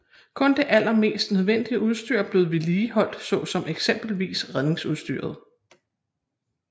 Kun det allermest nødvendige udstyr blev vedligeholdt såsom eksempelvis redningsudstyret